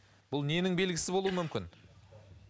бұл ненің белгісі болуы мүмкін